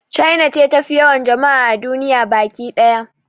China ce tafi yawan jama'a a duniya baki ɗaya